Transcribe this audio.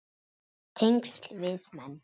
Tengsl við menn